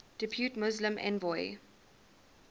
depute muslim envoy